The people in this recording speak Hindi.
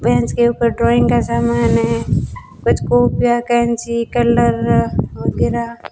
बेंच के ऊपर ड्रॉइंग का समान है कुछ कॉपियां कैंची कलर वगेरा--